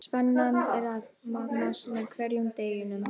Spennan er að magnast með hverjum deginum.